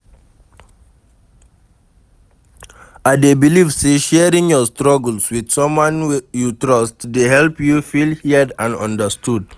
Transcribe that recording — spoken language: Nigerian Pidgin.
i dey believe say sharing your struggles with someone you trust dey help you feel heard and understood.